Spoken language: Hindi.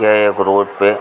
यह एक रोड पे --